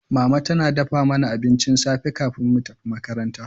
Mama tana dafa mana abincin safe kafin mu tafi makaranta.